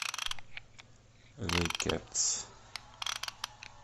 зе кетс